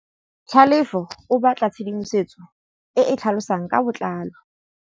Tlhalefô o batla tshedimosetsô e e tlhalosang ka botlalô.